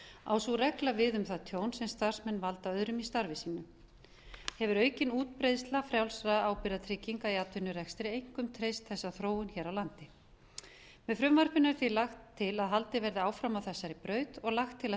á sú regla við um það tjón sem starfsmenn valda öðrum í starfi sínu hefur aukin útbreiðsla frjálsra ábyrgðartrygginga í atvinnurekstri einkum treysti þessa þróun hér á landi með frumvarpinu er því lagt til að haldið verði áfram á þessari braut og lagt til að